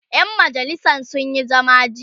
ƴan majalisan sun Yi zama jiya